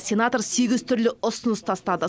сенатор сегіз түрлі ұсыныс тастады